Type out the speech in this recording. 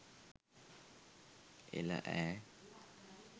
එළ ඈ